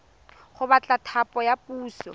go batla thapo ya puso